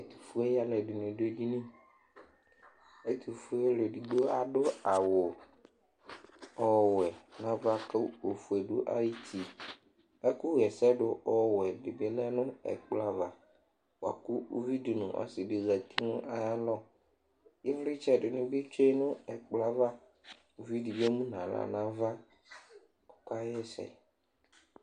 ɛtofue aloɛdini do edini ɛtofue alo edigbo ado awu ɔwɛ n'ava kò ofue do ayiti ɛkò ɣ'ɛsɛ do ɔwɛ di bi lɛ no ɛkplɔ ava boa kò uvi di n'ɔse di zati n'ayalɔ ivlitsɛ di ni bi tsue no ɛkplɔɛ ava uvi di bi emu n'ala n'ava ɔka ɣ'ɛsɛ